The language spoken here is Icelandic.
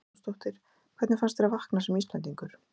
Þóra Arnórsdóttir: Hvernig fannst þér að vakna sem Íslendingur?